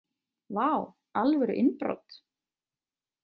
Vá, alvöru innbrot!